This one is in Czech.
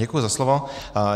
Děkuji za slovo.